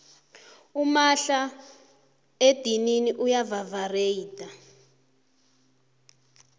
umahla edinini uya vavareyitha